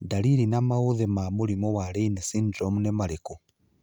Ndariri na maũthĩ ma mũrimũ wa Raine syndrome nĩ marikũ?